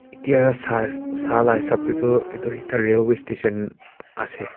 etya sa sala hisap tae tohedu ekta railway station ase.